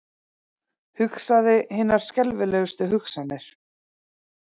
Hugsaði hinar skelfilegustu hugsanir.